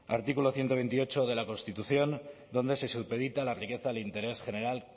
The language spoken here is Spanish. artículo ciento veintiocho de la constitución donde se supedita la riqueza del interés general